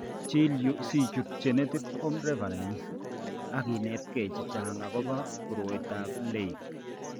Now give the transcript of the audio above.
Chil yu sichut Genetics Home Reference ak inetgee chechang' akobo koroitoab Leigh .